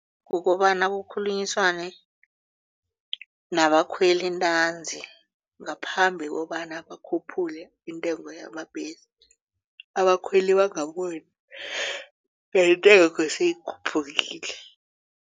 Kukobana kukhulunyiswane nabakhweli ntanzi ngaphambi kobana bakhuphule intengo yamabhesi abakhweli bangaboni ngentengo siyikhuphukile.